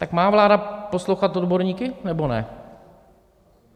Tak má vláda poslouchat odborníky, nebo ne?